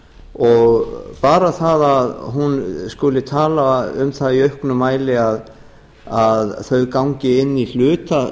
og bara það að hún skuli tala um það í auknum mæli að þau gangi inn í hluta